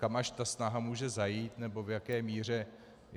Kam až ta snaha může zajít, nebo v jaké míře.